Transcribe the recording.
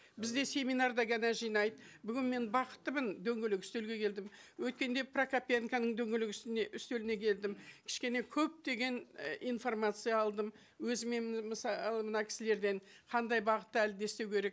бізді семинарда ғана жинайды бүгін мен бақыттымын дөңгелек үстелге келдім өткенде прокопенконың дөңгелек үстеліне келдім кішкене көптеген э информация алдым өзіме мысалы мына кісілерден қандай бағытта әлі де істеу керек